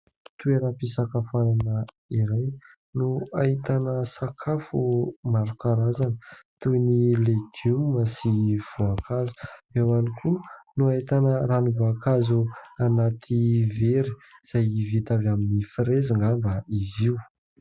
Toeram-pisakafoanana iray no ahitana sakafo maro karazana toy ny legioma sy voankazo. Eo ihany koa no ahitana ranom-boakazo anaty vera izay vita avy amin'ny frezy angamba izy io.